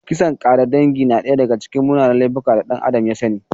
Kisan ƙare dangi na daya daga cikin munanan laifuka da ɗan Adam ya sani.